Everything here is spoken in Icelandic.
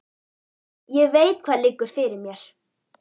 Ég veit hvað liggur fyrir mér.